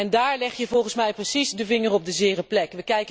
En daar leg je volgens mij precies de vinger op de zere plek.